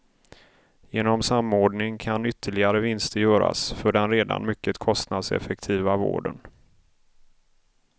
Genom samordning kan ytterligare vinster göras för den redan mycket kostnadseffektiva vården.